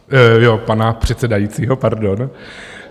Jo, pana předsedajícího, pardon.